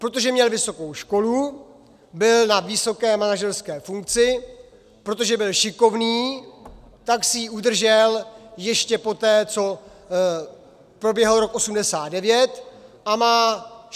Protože měl vysokou školu, byl na vysoké manažerské funkci, protože byl šikovný, tak si ji udržel ještě poté, co proběhl rok 1989, a má 16 nebo 17 tisíc důchodu.